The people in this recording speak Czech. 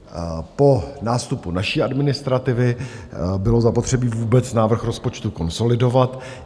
Po nástupu naší administrativy bylo zapotřebí vůbec návrh rozpočtu konsolidovat.